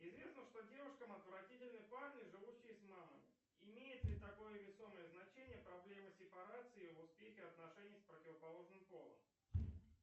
известно что девушкам отвратительны парни живущие с мамами имеет ли такое весомое значение проблемы сепарации в успехе отношений с противоположным полом